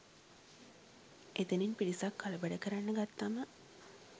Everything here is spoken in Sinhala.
එතැනත් පිරිසක් කලබල කරන්න ගත්තාම